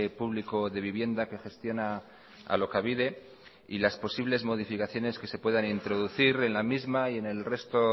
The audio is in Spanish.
público de vivienda que gestiona alokabide y las posibles modificaciones que se puedan introducir en la misma y en el resto